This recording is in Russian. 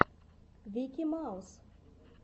вики маус